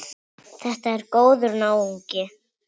Þetta er góður náungi.